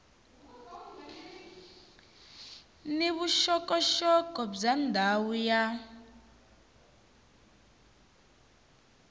ni vuxokoxoko bya ndhawu ya